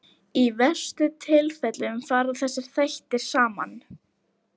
Í verstu tilfellum fara þessir þættir saman.